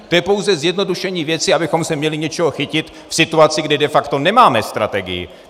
To je pouze zjednodušení věci, abychom se měli čeho chytit v situaci, kdy de facto nemáme strategii.